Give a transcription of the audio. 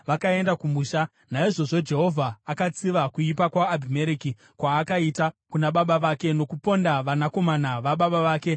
Naizvozvo Jehovha akatsiva kuipa kwaAbhimereki kwaakaita kuna baba vake nokuponda vanakomana vababa vake makumi manomwe.